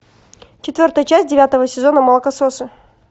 четвертая часть девятого сезона молокососы